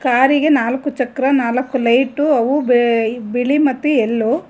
ಕಾರಿಗೆ ನಾಲ್ಕು ಚಕ್ರ ನಾಲ್ಕು ಲೈಟು ಅವು ಬಿಳಿ ಮತ್ತು ಎಲ್ಲೋ --